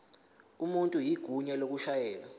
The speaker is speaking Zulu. umuntu igunya lokushayela